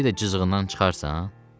Bir də cızığından çıxarsan?